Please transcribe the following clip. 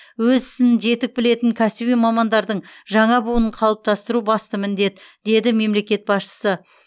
өз ісін жетік білетін кәсіби мамандардың жаңа буынын қалыптастыру басты міндет деді мемлекет басшысы